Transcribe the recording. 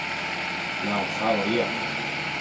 Já, það var ég.